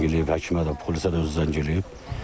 Özü zəng eləyib həkimə də, polisə də özü zəng eləyib.